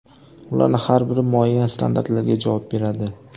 Ularning har biri muayyan standartlarga javob beradi.